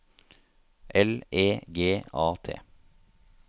L E G A T